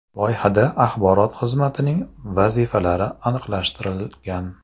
Loyihada axborot xizmatining vazifalari aniqlashtirilgan.